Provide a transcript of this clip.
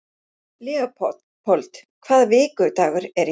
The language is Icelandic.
Leópold, hvaða vikudagur er í dag?